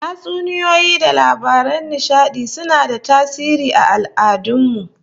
Tatsuniyoyi da labaran nishadi suna da tasiri aal'adun mu